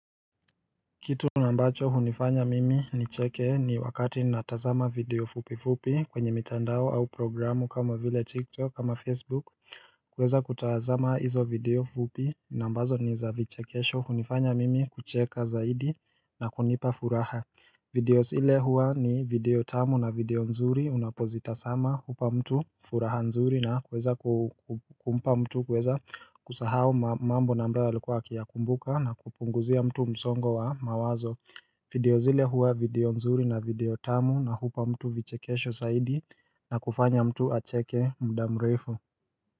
Kitu nambacho hunifanya mimi nicheke ni wakati natazama video fupi fupi kwenye mitandao au programu kama vile tiktok ama facebook kuweza kutazama hizo video fupi nambazo ni za vichekesho hunifanya mimi kucheka zaidi na kunipa furaha. Videos ile hua ni video tamu na video nzuri unapozita sama hupa mtu furaha nzuri na kweza kumpa mtu kweza kusahao mambo na ambayo alikuwa akiya kumbuka na kupunguzia mtu msongo wa mawazo video zile hua video nzuri na video tamu na hupa mtu vichekesho zaidi na kufanya mtu acheke mda mrefu.